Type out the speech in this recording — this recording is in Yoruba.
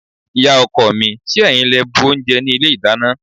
Ìyá-ọkọ mi, ṣé ẹ̀yin lẹ bu oúnjẹ ní ilé-ìdáná?